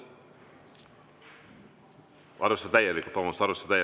Arvestada täielikult, vabandust!